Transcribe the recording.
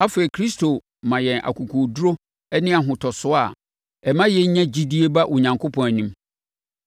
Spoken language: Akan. Afei Kristo ma yɛn akokoɔduru ne ahotosoɔ a ɛma yɛnya gyidie ba Onyankopɔn anim.